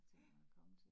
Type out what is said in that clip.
Ja